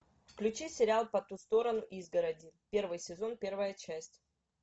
включи сериал по ту сторону изгороди первый сезон первая часть